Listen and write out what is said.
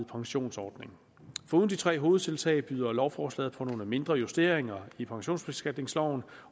pensionsordning foruden de tre hovedtiltag byder lovforslaget på nogle mindre justeringer i pensionsbeskatningsloven